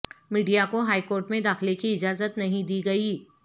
media کو high court میں داخلے کی اجازت نہیں دی گئی